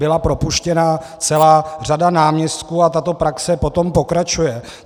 Byla propuštěna celá řada náměstků a tato praxe potom pokračuje.